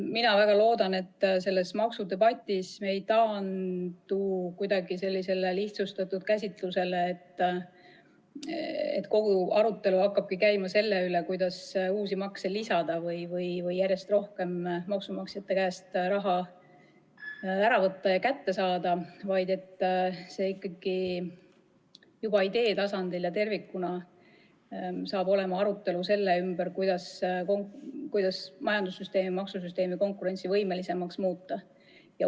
Ma väga loodan, et selles maksudebatis me ei taandu kuidagi sellisele lihtsustatud käsitlusele, mille korral kogu arutelu hakkakski käima selle üle, kuidas uusi makse lisada või järjest rohkem maksumaksjate käest raha kätte saada, vaid et juba idee tasandil ja tervikuna saaks arutelu olema selle üle, kuidas majandus- ja maksusüsteemi konkurentsivõimelisemaks muuta.